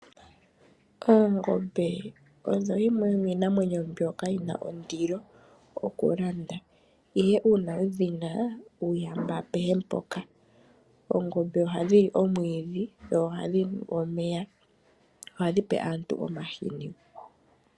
Oongombe odho dhimwe yomiinamwenyo mbyoka yina ondilo okulanda. Ihe uuna wudhina, uuyamba apehe mpoka. Oongombe ohadhi li omwiidhi dho ohadhinu omeya. Ohadhi pe aantu omahini.